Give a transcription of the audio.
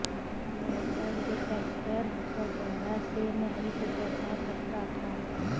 metal detector वगैरह से नहीं गुजरना पड़ता था